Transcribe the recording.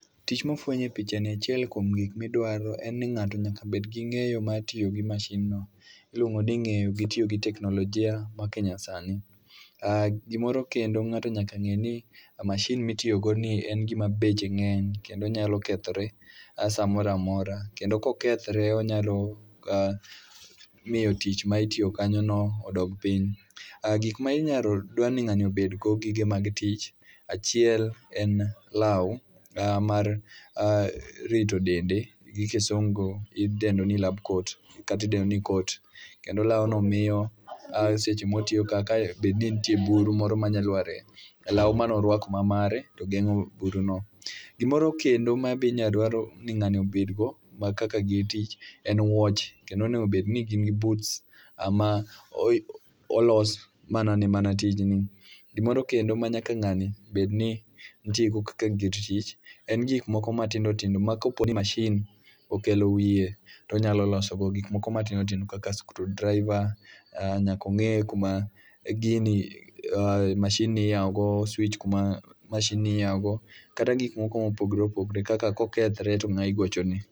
Tich mafwenyo e picha ni achiel kuom gik midwaro en ni ng'ato nyaka bed gi ng'eyo mar tiyo gi mashin no. Iluongo ni ng'eyo gi tiyo gi teknolojia ma ke nyasani. Ah gimoro kendo ng'ato nyaka ng'e ni mashin mitiyogo ni en gima beche ng'eny kendo nyalo kethore a samora mora. Kendo kokethre onyalo a miyo tich ma itiyo kanyo no odog piny. Ah gik ma inyalo dwa ni ng'ani obedgo, gige mag tich. Achiel en lawu mar rito dende, gi kisungu idendo ni lab coat katidendo ni coat. Kendo lawno miyo a seche mwatiyo ka kae bedni nitie buru moro manya lwar e lawu manorwako ma mare, to geng'o buru no. Gimoro kendo ma be inya dwaro ni ng'ani obed go ma kaka gi tich en wuoche. Kendo onegobdni gin gi boots ma olos mana ne tijni. Gimoro kendo ma nyaka ng'ani bedni nitie go kaka gir tich, en gik moko ma tindo tindo ma koponi mashin okelo wiye tonyalo loso go gik moko ma tindo tindo. Kaka screwdriver, nyakong'e kuma gini ah, mashin ni iyawo go swich kuma mashin ni iyawogo. Kata gik moko mopogre opogre kaka kokethre to ng'a igochone.